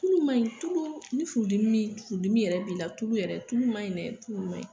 Tulu ma ɲi tulu, ni furu dimi yɛrɛ b'i la, tulu yɛrɛ tulu ma ɲin dɛ, tulu ma ɲi.